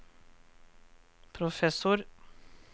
professor